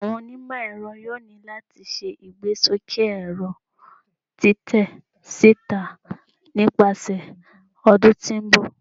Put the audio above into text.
Awọn onimọ-ẹrọ yoo ni lati ṣe igbesoke ẹrọ titẹ sita nipasẹ ọdun ti n bọ